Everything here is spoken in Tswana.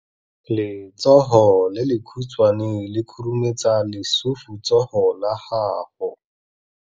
Letsogo le lekhutshwane le khurumetsa lesufutsogo la gago.